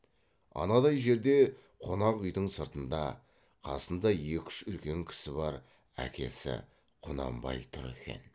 анадай жерде қонақ үйдің сыртында қасында екі үш үлкен кісі бар әкесі құнанбай тұр екен